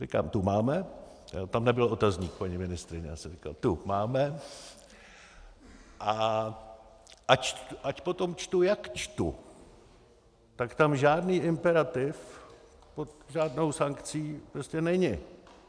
Říkám tu máme - tam nebyl otazník, paní ministryně, já jsem říkal tu máme, a ať potom čtu jak čtu, tak tam žádný imperativ pod žádnou sankcí prostě není.